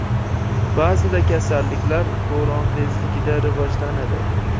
Ba’zida kasalliklar bo‘ron tezligida rivojlanadi.